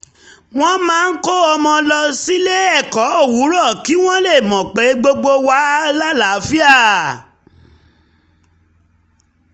wọ́n máa ń kó ọmọ lọ sílé-ẹ̀kọ́ owurọ̀ kí wọ́n lè mọ pé gbogbo wà láàlàáfíà